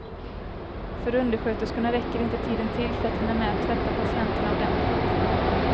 För undersköterskorna räckte inte tiden till för att hinna med att tvätta patienterna ordentligt.